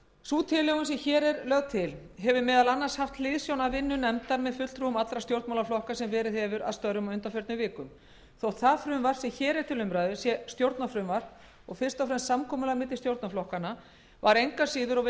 sú tilhögun sem hér er lögð til hefur meðal annars haft hliðsjón af vinnu nefndar með fulltrúum allra stjórnmálaflokka sem verið hefur að störfum á undanförnum vikum þótt það frumvarp sem hér er til umræðu sé stjórnarfrumvarp og fyrst og fremst samkomulag